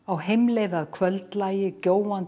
heimleið að kvöldlagi